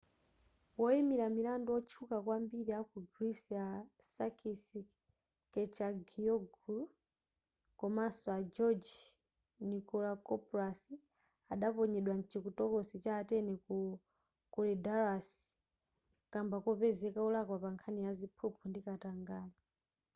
woyimira milandu wotchuka kwambiri aku greece a sakis kechagioglou komanso a george nikolakopoulos adaponyedwa mchitokosi ya atene ku korydallus kamba kopezeka wolakwa pankhani ya ziphuphu ndi katangale